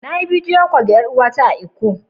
Na yi kiran bidiyo da yar uwa ta da ke lkko.